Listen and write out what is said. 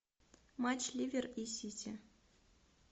матч ливер и сити